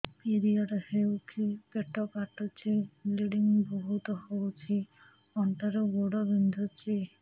period ହୋଇକି ପେଟ କାଟୁଛି ବ୍ଲିଡ଼ିଙ୍ଗ ବହୁତ ହଉଚି ଅଣ୍ଟା ରୁ ଗୋଡ ବିନ୍ଧୁଛି